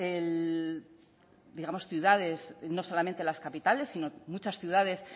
ciudades no solamente las capitales sino muchas ciudades